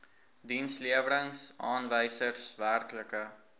dienslewerings aanwysers werklike